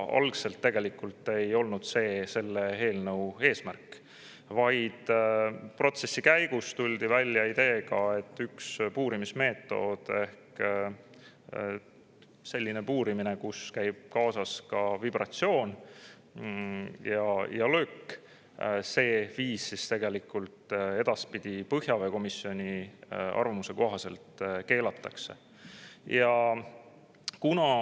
Algul ei olnud küll see selle eelnõu eesmärk, aga protsessi käigus tuldi välja ideega, et üks puurimismeetod ehk selline puurimine, millega käib kaasas ka vibratsioon ja löök, edaspidi põhjaveekomisjoni arvamuse kohaselt keelatakse.